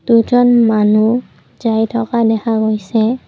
দুজন মানুহ যায় থকা দেখা গৈছে।